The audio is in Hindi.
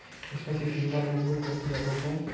इसमे सिर्फ फीमेल एडमिट होती है रूम मे --